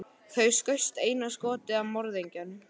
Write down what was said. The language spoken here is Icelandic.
Þú skaust einu skoti að morðingjanum.